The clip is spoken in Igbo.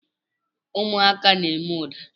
Ụmụaka na-eme ụda.